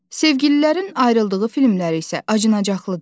Sevgililərin ayrıldığı filmlər isə acınacaqlıdır.